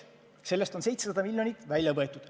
Sellest on 700 miljonit välja võetud.